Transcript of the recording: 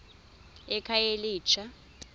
ekhayelitsha